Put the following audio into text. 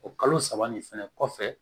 O kalo saba nin fɛnɛ kɔfɛ